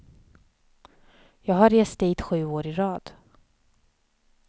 Jag har rest dit sju år i rad.